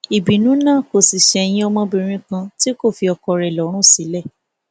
ìbínú náà kò sì ṣẹyìn ọmọbìnrin kan tí kò fi ọkọ rẹ lọrùn sílẹ